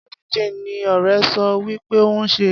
Bureau de change ni ọrẹ so wí pé òun ń ṣe.